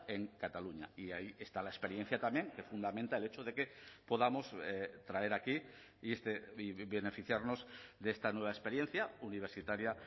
en cataluña y ahí está la experiencia también que fundamenta el hecho de que podamos traer aquí y beneficiarnos de esta nueva experiencia universitaria